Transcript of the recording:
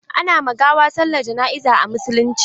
Ana ma gawa sallar jana'iza a musulunce.